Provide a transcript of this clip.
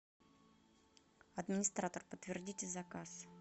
администратор подтвердите заказ